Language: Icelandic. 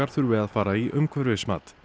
þurfi að fara í umhverfismat